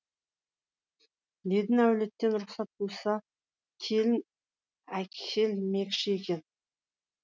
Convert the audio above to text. енді әулеттен рұқсат болса келін әкелмекші екен